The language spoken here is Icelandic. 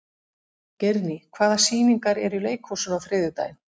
Geirný, hvaða sýningar eru í leikhúsinu á þriðjudaginn?